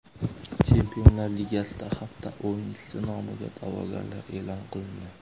Chempionlar Ligasida hafta o‘yinchisi nomiga da’vogarlar e’lon qilindi.